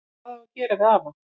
Hvað á að gera við afa?